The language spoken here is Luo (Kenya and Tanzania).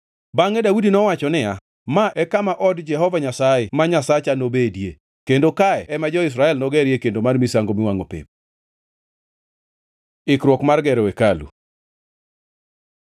Bangʼe Daudi nowacho niya, “Ma e kama od Jehova Nyasaye ma Nyasaye nobedie, kendo kae ema jo-Israel nogerie kendo mar misango miwangʼo pep.” Ikruok mar gero hekalu